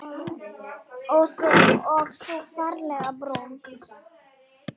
Og þú ferlega brún.